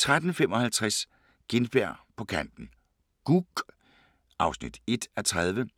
13:55: Gintberg på kanten - Gug (1:30)